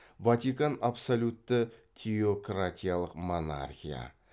ватикан абсолютті теократиялық монархия